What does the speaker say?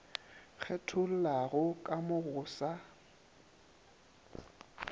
kgethollago ka mo go sa